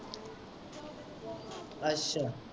ਅੱਛਾ।